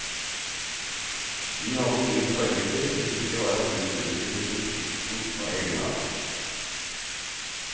Vi hadde ingen forbilder, det viktige var at huset uttrykker sin funksjon og egenart.